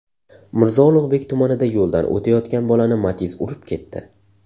Mirzo Ulug‘bek tumanida yo‘ldan o‘tayotgan bolani Matiz urib ketdi .